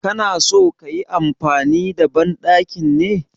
Ka na so ka yi amfani da banɗakin ne?